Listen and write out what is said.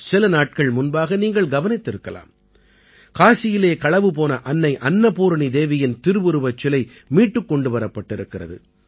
சில நாட்கள் முன்பாக நீங்கள் கவனித்திருக்கலாம் காசியிலே களவு போன அன்னை அன்னபூரணி தேவியின் திருவுருவச் சிலை மீட்டுக் கொண்டு வரப்பட்டிருக்கிறது